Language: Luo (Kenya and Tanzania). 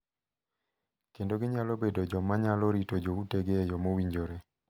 Kendo ginyalo bedo joma nyalo rito joutegi e yo mowinjore.